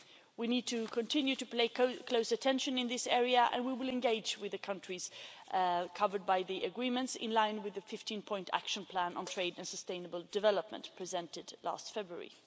We need to continue to pay close attention in this area and we will engage with the countries covered by the Agreements in line with the 15 point action plan on trade and sustainable development presented last February.